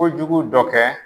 Kojugu dɔ kɛ.